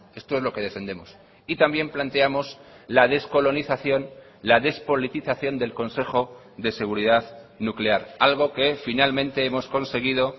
esto es lo que defendemos y también planteamos la descolonización la despolitización del consejo de seguridad nuclear algo que finalmente hemos conseguido